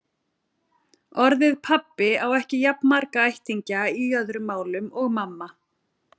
Orðið pabbi á ekki jafn marga ættingja í öðrum málum og mamma.